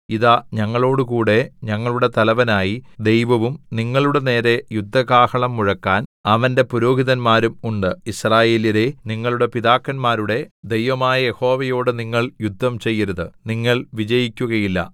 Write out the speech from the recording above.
ഇതാ ഞങ്ങളോടുകൂടെ ഞങ്ങളുടെ തലവനായി ദൈവവും നിങ്ങളുടെനേരെ യുദ്ധകാഹളം മുഴക്കാൻ അവന്റെ പുരോഹിതന്മാരും ഉണ്ട് യിസ്രായേല്യരേ നിങ്ങളുടെ പിതാക്കന്മാരുടെ ദൈവമായ യഹോവയോട് നിങ്ങൾ യുദ്ധം ചെയ്യരുത് നിങ്ങൾ വിജയിക്കുകയില്ല